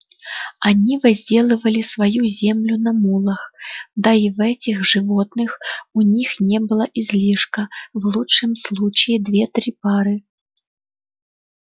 они возделывали свою землю на мулах да и в этих животных у них не было излишка в лучшем случае две-три пары